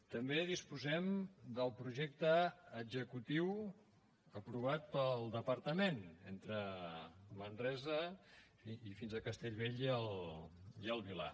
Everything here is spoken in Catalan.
també disposem del projecte executiu aprovat pel departament entre manresa i fins a castellbell i el vilar